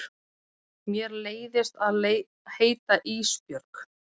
Mér leiðist að heita Ísbjörg.